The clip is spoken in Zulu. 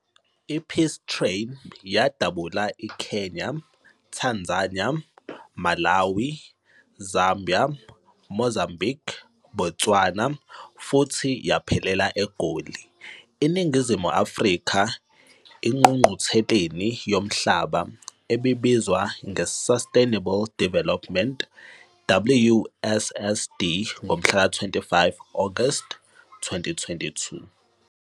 I-Peace Train yadabula iKenya, Tanzania, Malawi, Zambia, Mozambique, Botswana futhi yaphelela eGoli, eNingizimu Afrika engqungqutheleni yomhlaba ebibizwa nge-Sustainable Development, WSSD, ngomhlaka 25 Agasti 2002.